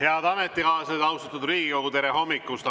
Head ametikaaslased, austatud Riigikogu, tere hommikust!